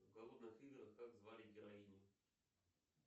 в голодных играх как звали героиню